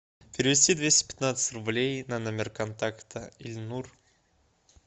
перевести двести пятнадцать рублей на номер контакта эльнур